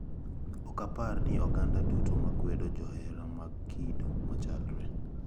Okapar ni oganda duto ma kwedo johera mag kido machalre.